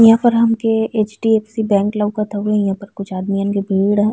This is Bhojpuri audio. इहां पर हमके एच.डी.एफ.सी. बैंक लउकत हवे। इहां पर कुछ आदमियन के भीड़ है।